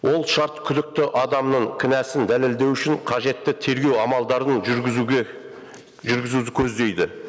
ол шарт күдікті адамның кінәсін дәлелдеу үшін қажетті тергеу амалдарын жүргізуді көздейді